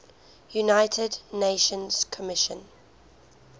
united nations commission